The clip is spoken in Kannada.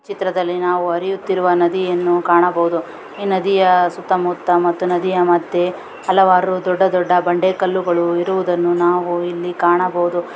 ಚಿತ್ರಲ್ಲಿ ಹರಿಯುವ ನದಿಯನ್ನು ಕಾಣಬಹುದು ನದಿಯ ಸುತ್ತ ಮುತ್ತ ಮತ್ತು ನದಿಯ ಮದ್ಯೆ ಹಲವಾರು ದೊಡ್ಡ ದೊಡ್ಡ ಬಂಡೆ ಕಲ್ಲುಗಳು ಇರುವುದನ್ನು ನಾವಿಲ್ಲಿ ಕಾಣಬಹುದು .